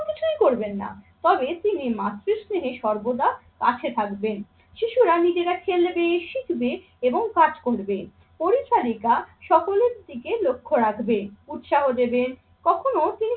কিছুই করবেন না। তবে তিনি মাতৃ স্নেহে সর্বদা পাশে থাকবেন। শিশুরা নিজেরা খেলবে, শিখবে এবং কাজ করবে। পরিচারিকা সকলের দিকে লক্ষ্য রাখবে, উৎসাহ দেবে। কখনো